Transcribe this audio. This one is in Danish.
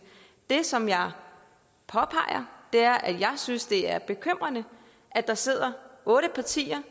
det som jeg påpeger er at jeg synes det er bekymrende at der sidder otte partier